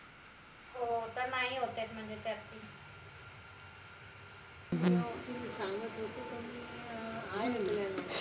हो तर नाई होतायत म्हनजे त्यात ती